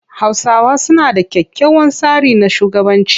Hausawa suna da kyakkyawan tsari na shugabanci.